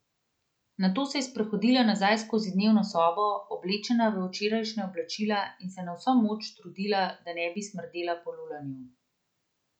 Nato se je sprehodila nazaj skozi dnevno sobo, oblečena v včerajšnja oblačila, in se na vso moč trudila, da ne bi smrdela po lulanju.